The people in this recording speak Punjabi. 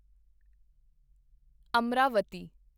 ਅਮਰਾਵਤੀ